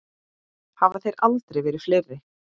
Hafa þeir aldrei verið fleiri.